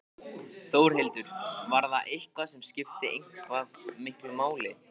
Þórhildur: Var það eitthvað sem skipti eitthvað miklu máli?